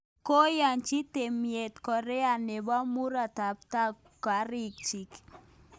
Koyachi tyemet Korea nebo murotakatam kariik chiik